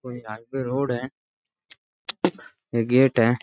और यहां पे रोड है गेट है।